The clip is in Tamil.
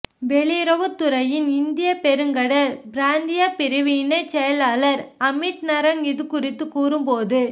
வெளியுறவுத் துறையின் இந்தியப் பெருங்கடல் பிராந்தியப் பிரிவு இணைச் செயலாளர் அமித் நரங் இது குறித்து கூறும்போது